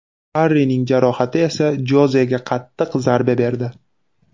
Harrining jarohati esa Jozega qattiq zarba berdi.